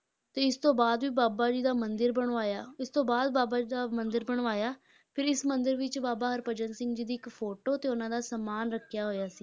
ਤੇ ਇਸ ਤੋਂ ਬਾਅਦ ਵੀ ਬਾਬਾ ਜੀ ਦਾ ਮੰਦਿਰ ਬਣਵਾਇਆ, ਇਸ ਤੋਂ ਬਾਅਦ ਬਾਬਾ ਜੀ ਦਾ ਮੰਦਿਰ ਬਣਵਾਇਆ, ਫਿਰ ਇਸ ਮੰਦਿਰ ਵਿੱਚ ਬਾਬਾ ਹਰਭਜਨ ਸਿੰਘ ਜੀ ਦੀ ਇੱਕ photo ਤੇ ਉਹਨਾਂ ਦਾ ਸਮਾਨ ਰੱਖਿਆ ਹੋਇਆ ਸੀ,